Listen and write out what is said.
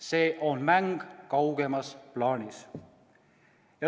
See on mäng kaugemas plaanis.